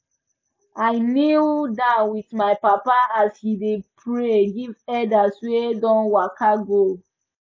i knee down with my papa as he dey pray give elders wey don waka go